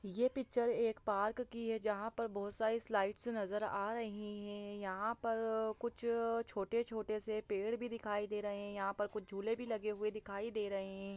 ये पिच्चर एक पार्क की है जहाँ पर बहुत सारी स्लाइड्स नजर आ रही है यहाँ पर कुछ छोटे-छोटे से भी पेड़ दिखाई दे रहे है यहाँ पर कुछ झूले भी लगे हुए दिखाई दे रहे हैं।